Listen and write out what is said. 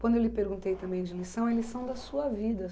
Quando eu lhe perguntei também de lição, é lição da sua vida,